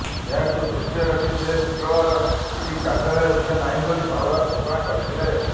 ଏହାକୁ ଦୃଷ୍ଟିରେ ରଖି ସେ ଶୁକ୍ରବାର ଇଡି କାର୍ଯ୍ୟାଳୟ ଯିବେ ନାହିଁ ବୋଲି ପାୱାର ଘୋଷଣା କରିଥିଲେ